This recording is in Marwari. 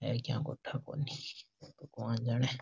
ये क्या गोठा कोणी कोण जाने --